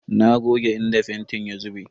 Na goge inda fentin ya zube.